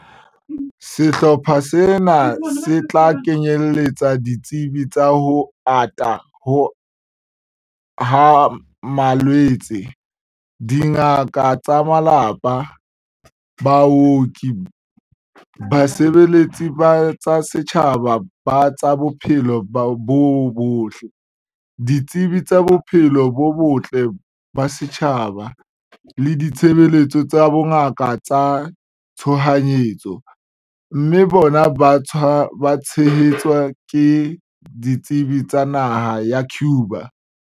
Sehlopha sena se tla kenyeletsa ditsebi tsa ho ata ha malwetse, dingaka tsa malapa, baoki, basebeletsi ba tsa setjhaba ba tsa bophelo bo botle, ditsebi tsa bophelo bo botle ba setjhaba le ditshebeletso tsa bongaka tsa tshohanyetso, mme bona ba tshehetswe ke ditsebi tsa naha ya Cuba.